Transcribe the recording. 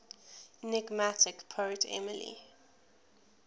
enigmatic poet emily